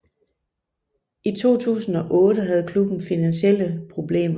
I 2008 havde klubben finansielle problemer